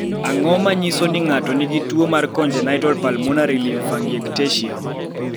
Ang�o ma nyiso ni ng�ato nigi tuo mar Congenital pulmonary lymphangiectasia?